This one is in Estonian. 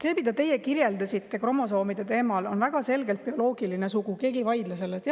See, mida teie kirjeldasite, kromosoomide teema on väga selgelt seotud bioloogilise sooga, keegi ei vaidle sellele vastu.